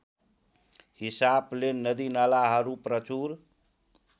हिसाबले नदीनालाहरू प्रचूर